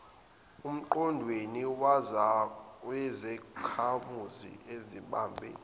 emqondweni wezakhamuzi ezibambe